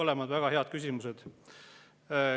Mõlemad väga head küsimused.